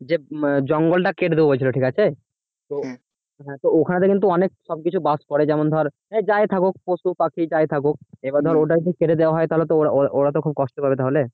যে জঙ্গলটা কেটে দেবে বলছিল ঠিক আছে হ্যাঁ ওখানেতে কিন্তু অনেক কিছু বাস করে যেমন ধর যাই থাকুক পশু পাখি যাই থাকুক এবার ধর ওটা যদি ছেড়ে দেওয়া হয় তাহলে তো ওরা তো খুব কষ্ট পাবে তাহলে